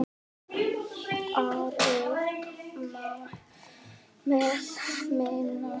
Aðrir mælast með minna.